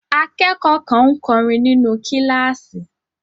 Akẹ́kọ̀ọ́ kan ń kọrin nínú kíláàsì.